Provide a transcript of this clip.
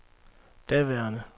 daværende